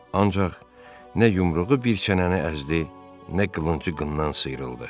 Ancaq nə yumruğu bir çənəni əzdi, nə qılıncı qınından sıyrıldı.